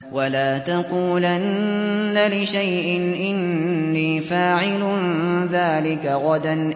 وَلَا تَقُولَنَّ لِشَيْءٍ إِنِّي فَاعِلٌ ذَٰلِكَ غَدًا